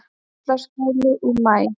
Sörlaskjóli í maí